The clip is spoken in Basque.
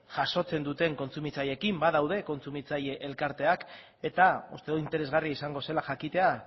jasotzen duten kontsumitzaileekin badaude kontsumitzaile elkarteak eta uste dut interesgarria izango zela jakitea